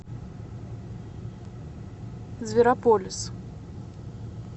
зверополис